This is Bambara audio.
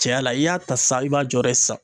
Cɛya la i y'a ta san i b'a jɔyɔrɔ ye san